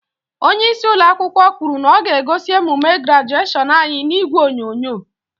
Onyeisi ụlọakwụkwọ kwuru na ọ ga-egosi emume grajeshion anyị n'ìgwè onyonyo.